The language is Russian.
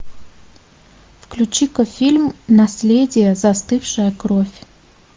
включи ка фильм наследие застывшая кровь